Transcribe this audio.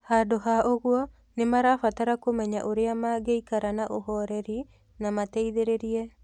Handũ ha ũguo, nĩ marabatara kũmenya ũrĩa mangĩikara na ũhoreri na mateithĩrĩrie.